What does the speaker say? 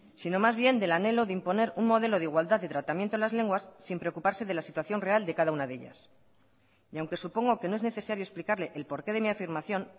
sino más bien del anhelo de imponer un modelo de igualdad de tratamiento de las lenguas sin preocuparse de la situación real de cada una de ellas aunque supongo que no es necesario explicarle el porqué de mi afirmación